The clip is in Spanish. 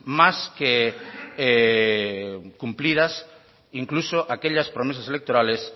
más que cumplidas incluso aquellas promesas electorales